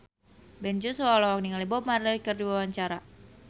Ben Joshua olohok ningali Bob Marley keur diwawancara